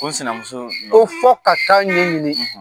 Ko sinamuso . Ko fɔ ka taa ɲɛ ɲini.